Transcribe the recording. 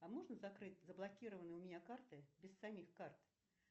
а можно закрыть заблокированные у меня карты без самих карт